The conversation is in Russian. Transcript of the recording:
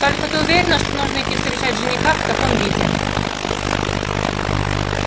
только ты уверена что нужно идти встречать жениха в таком виде